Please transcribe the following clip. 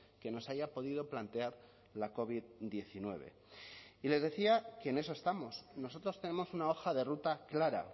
que nos haya podido plantear la covid hemeretzi y les decía que en eso estamos nosotros tenemos una hoja de ruta clara